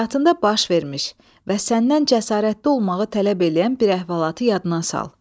Həyatında baş vermiş və səndən cəsarətli olmağı tələb eləyən bir əhvalatı yadına sal.